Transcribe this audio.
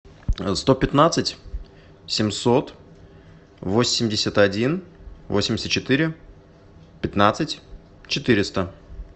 сто пятнадцать семьсот восемьдесят один восемьдесят четыре пятнадцать четыреста